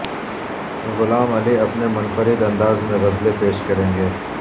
غلام علی اپنے منفرد انداز میں غزلیں پیش کریں گے